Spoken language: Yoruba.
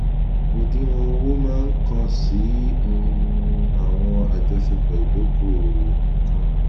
òdiwọn owó máa kàn sí um àwọn àjọṣepọ ìdókòòwò nìkan